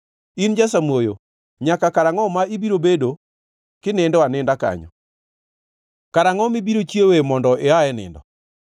In jasamuoyo, nyaka karangʼo ma ibiro bedo kinindo aninda kanyo? Karangʼo mibiro chiewoe mondo ia e nindo?